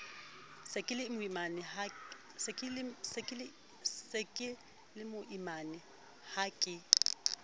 se ke lemoimana ha ke